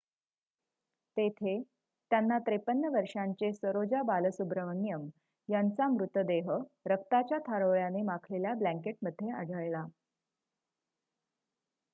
तेथे त्यांना 53 वर्षांचे सरोजा बालसुब्रमण्यम यांचा मृतदेह रक्ताच्या थारोळ्याने माखलेल्या ब्लॅंकेटमध्ये आढळला